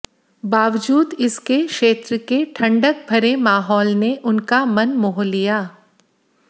बावजूद इसके क्षेत्र के ठंडक भरे माहौल ने उनका मन मोह लिया